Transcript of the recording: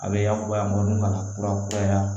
A bɛ yakubaya minnu ka na furakura